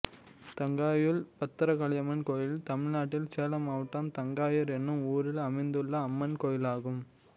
தங்காயூர் பத்ரகாளியம்மன் கோயில் தமிழ்நாட்டில் சேலம் மாவட்டம் தங்காயூர் என்னும் ஊரில் அமைந்துள்ள அம்மன் கோயிலாகும்